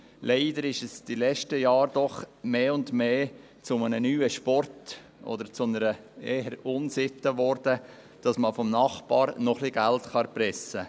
Leider wurde es in den letzten Jahren zusehends zu einem neuen Sport, oder eher zu einer Unsitte, um vom Nachbar noch etwas Geld zu erpressen.